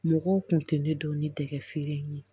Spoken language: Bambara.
Mɔgɔw kun tɛ ne dɔn ni dɛgɛ feere in ye